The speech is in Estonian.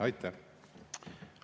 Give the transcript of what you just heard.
Aitäh!